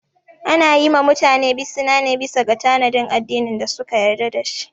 Ana yi ma mutane bisina ne bisa ga tanadin addinin da suka yarda dashi